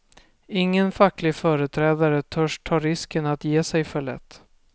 Ingen facklig företrädare törs ta risken att ge sig för lätt.